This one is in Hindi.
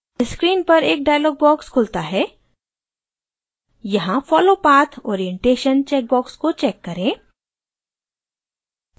screen पर एक dialog box खुलता है यहाँ follow path orientation checkbox को check करें